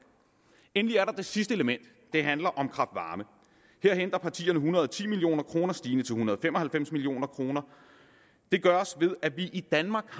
endelig er der det sidste element der handler om kraft varme her henter partierne en hundrede og ti million kroner stigende til en hundrede og fem og halvfems million kroner det gøres ved at vi i danmark